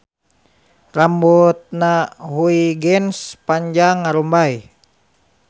Rambutna Huygens panjang ngarumbay